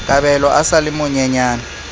kabelo a sa le monyenyane